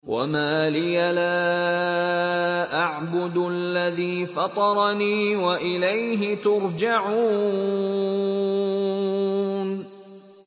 وَمَا لِيَ لَا أَعْبُدُ الَّذِي فَطَرَنِي وَإِلَيْهِ تُرْجَعُونَ